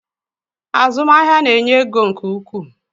Azụmahịa na-enye ego nke ukwuu